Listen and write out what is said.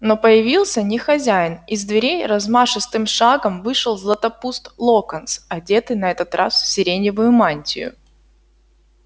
но появился не хозяин из дверей размашистым шагом вышел златопуст локонс одетый на этот раз в сиреневую мантию